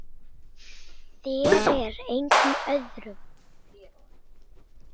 Þér og engum öðrum.